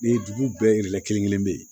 Ni dugu bɛɛ lajɛlen kelen kelen bɛ yen